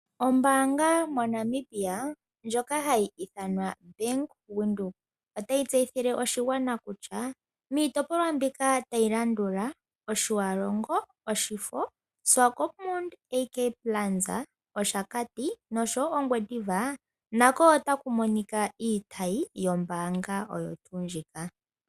Ombaanga moNamibia ndjoka hayi ithanwa Bank Windhoek otayi tseyithile oshigwana kutya miitopolwa mbika tayi landula : Otjiwarongo, Oshifo, Swakopmund AK Plaza, Oshakati noshowo Ongwediva nako otaku monika iitayi yombaanga oyo tuu ndjika.